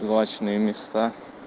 злачные места